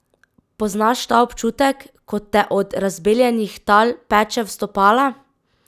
Poznaš ta občutek, ko te od razbeljenih tal peče v stopala?